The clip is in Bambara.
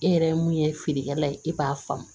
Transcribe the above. E yɛrɛ mun ye feerekɛla ye e b'a faamu